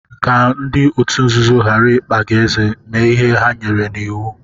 Ka ndị otu nzuzo ghara ịkpa gị ézé, mee ihe ha nyere n'iwu.